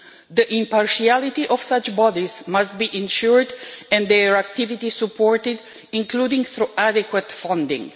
The impartiality of such bodies must be ensured and their activity supported, including through adequate funding.